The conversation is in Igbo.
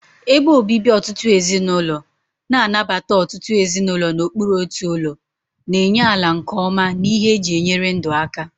Ebe obibi ọtụtụ ezinụlọ, na-anabata ọtụtụ ezinụlọ n'okpuru otu ụlọ, na-enye ala nke ọma na ihe eji enyere ndụ aka.